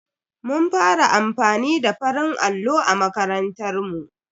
Mun fara amfani da farin allo a makarantar mu.